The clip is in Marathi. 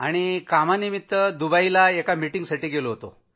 कामानिमित्तानं मी दुबईला एका मीटिंगसाठी गेलो होतो